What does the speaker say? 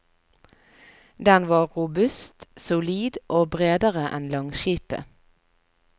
Den var robust, solid og bredere en langskipet.